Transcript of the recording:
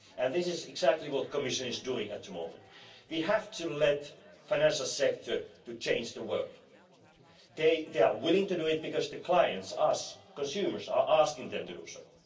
And this is exactly what the Commission is working on at the moment. We have to let the financial sector act to change the world. They are willing to do it, because their clients, us, and consumers are asking them to